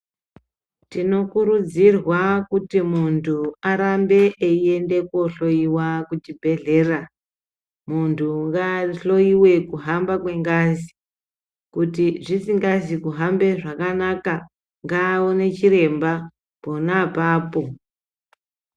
Tinokurudzirwa kuti muntu ngarambe eienda kohloiwa kuchibhehlera muntu ngahloiwe kuhamba kwengazi kuti zvisingazi kuhambe zvakanaka ngaone chiremba pona apapo.